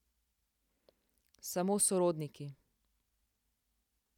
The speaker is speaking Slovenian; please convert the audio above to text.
Samo sorodniki!